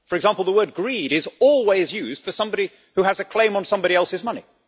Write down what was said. For example, the word greed' is always used for somebody who has a claim on somebody else's money.